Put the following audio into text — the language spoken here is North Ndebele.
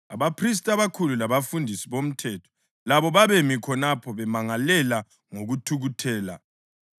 Abaphristi abakhulu labafundisi bomthetho labo babemi khonapho bemangalela ngokuthukuthela.